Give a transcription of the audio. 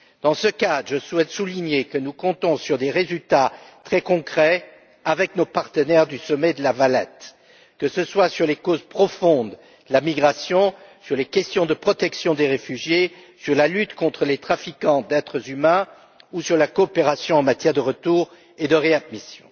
Dans ce cadre, je souhaite souligner que nous comptons sur des résultats très concrets avec nos partenaires du sommet de La Valette, que ce soit sur les causes profondes de la migration, sur les questions de protection des réfugiés, sur la lutte contre les trafiquants d'êtres humains ou sur la coopération en matière de retour et de réadmission.